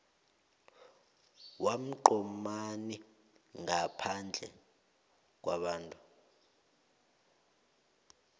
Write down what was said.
womgomani ngaphandle kwabantu